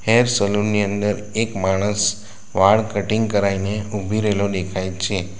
Hair salon ની અંદર એક માણસ વાળ કટીંગ કરાયને ઉભી રેયલો દેખાય છે.